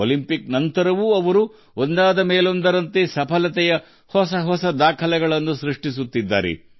Olympics ನಂತರವೂ ಒಂದರ ಹಿಂದೆ ಒಂದರಂತೆ ಹೊಸ ದಾಖಲೆಗಳನ್ನು ಅವರು ಮಾಡುತ್ತಿದ್ದಾರೆ